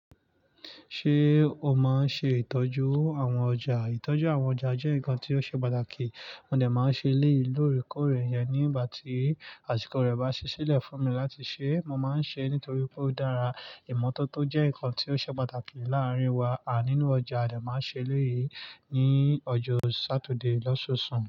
Ṣé o máa ń ṣe ìtọ́jú àwọn ọjà? Ìtọ́jú àwọn ọjà jẹ́ nǹkan tí ó ṣe pàtàkì. Mo dà máa ń ṣe eléyìí ìlórí kórè yẹn nígbà tí àsìkò rẹ̀ bá ṣẹ́ ṣílẹ̀ fún mi láti ṣẹ́. Mo máa ń ṣẹ nítorí pé ó dára. Ìmọ́tótó jẹ́ nǹkan tí ó ṣe pàtàkì láàárín wa à nínú ọjà. Dà máa ṣẹ lé yìí ní ọjọ́ Saturday lọ́sọsùn.